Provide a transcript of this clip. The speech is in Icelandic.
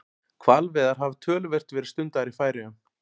Hvalveiðar hafa töluvert verið stundaðar í Færeyjum.